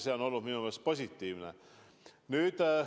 See on olnud minu meelest positiivne.